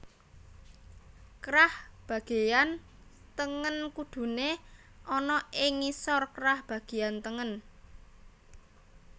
Krah bagéyan tengen kuduné ana ing ngisor krah bagéyan tengen